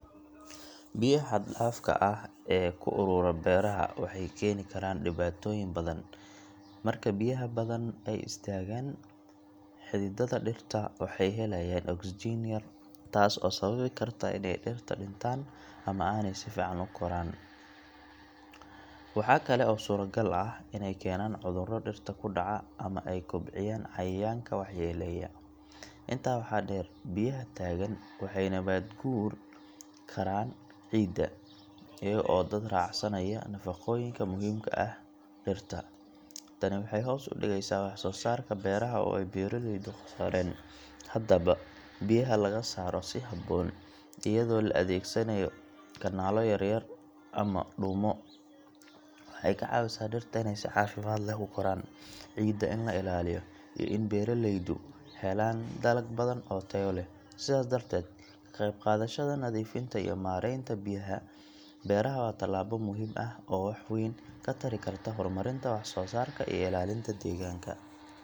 Biyaha xad-dhaafka ah ee ku urura beeraha waxay keeni karaan dhibaatooyin badan. Marka biyaha badan ay istaagaan, xididdada dhirta waxay heleyaan oksijiin yari, taas oo sababi karta inay dhirta dhintaan ama aanay si fiican u koraan. Waxa kale oo suuragal ah inay keenaan cudurro dhirta ku dhaca ama ay kobciyaan cayayaanka waxyeeleeya. Intaa waxaa dheer, biyaha taagan waxay nabaad guuri karaan ciidda, iyaga oo daad raacsanaya nafaqooyinka muhiimka u ah dhirta. Tani waxay hoos u dhigaysaa wax-soosaarka beeraha oo ay beeraleyda khasaareen. Haddaba, biyaha laga saaro si habboon, iyadoo la adeegsanayo kanaallo yar yar ama dhuumo, waxay ka caawisaa dhirta inay si caafimaad leh u koraan, ciidda in la ilaaliyo, iyo in beeraleydu helaan dalag badan oo tayo leh. Sidaas darteed, ka qaybqaadashada nadiifinta iyo maaraynta biyaha beeraha waa tallaabo muhiim ah oo wax weyn ka tari karta horumarinta wax-soosaarka iyo ilaalinta deegaanka.